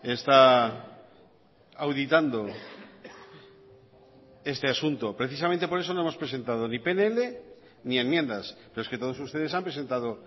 está auditando este asunto precisamente por eso no hemos presentado ni pnl ni enmiendas pero es que todos ustedes han presentado